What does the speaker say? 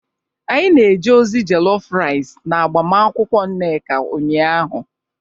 anyi na-eje ozi jollof rice n'agbamakwụkwọ nneka ụnyahụ